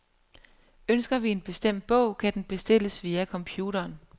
Ønsker vi en bestemt bog, kan den bestilles via computeren.